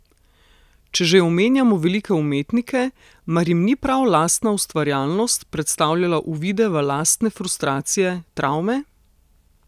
Če že omenjamo velike umetnike, mar jim ni prav lastna ustvarjalnost predstavljala uvide v lastne frustracije, travme?